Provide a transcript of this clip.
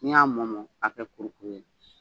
N'i y'a mɔ mɔ k'a kɛ kuru kuru ye